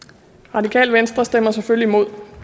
radikale venstre stemmer selvfølgelig imod